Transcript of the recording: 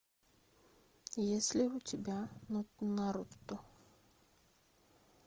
есть ли у тебя наруто